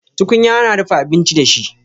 Tukunya ana dafa abinci da shi